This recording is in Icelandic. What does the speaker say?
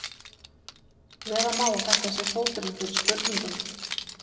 Vera má að þetta sé fóturinn fyrir spurningunni.